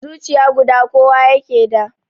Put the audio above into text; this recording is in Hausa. Zuciya guda kowa ke da